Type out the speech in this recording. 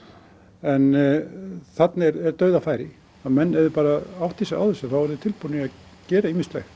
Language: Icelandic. en þarna er er dauðafæri menn ef þeir bara átta sig á þessu eru tilbúnir að gera ýmislegt